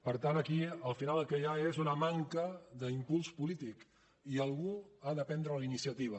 per tant aquí al final el que hi ha és una manca d’impuls polític i algú ha de prendre la iniciativa